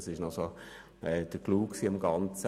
Das war der Clou am Ganzen.